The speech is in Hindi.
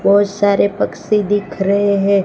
बहोत सारे पक्षी दिख रहे हैं।